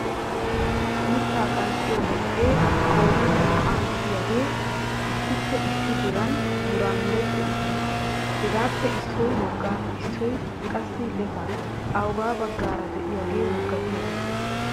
Mittaa qanxxiyo beexe qoodan naa"a gidiyaage issippe issi diran mura mureti uttiis. Hegappe issoy woga issoy qassi lefa, awuga baggaara diyaage wogatiyaage?